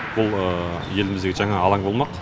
бұл еліміздегі жаңа алаң болмақ